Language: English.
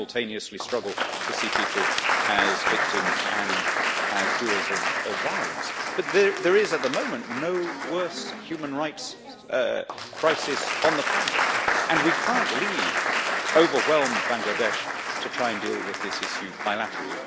We simultaneously struggle to see people as victims and as doers of violence. There is, at the moment, no worse human rights crisis on the planet and we cannot leave overwhelmed Bangladesh to try and deal with this issue bilaterally.